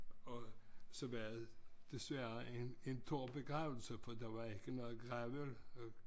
Og så var det desværre en en tør begravelse fordi der var ikke noget gravøl